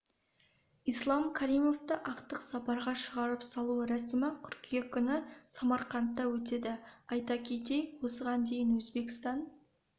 ислам каримовті ақтық сапарға шығарып салу рәсімі қыркүйек күні самарқандта өтеді айта кетейік осыған дейін өзбекстан